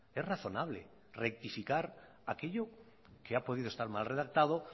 es razonable rectificar aquello que ha podido estar mal redactado